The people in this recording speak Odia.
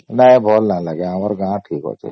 ନାଇ ଭଲ ନାଇ ଲାଗେ ଆମର ଗାଁ ଠିକ ଅଛେ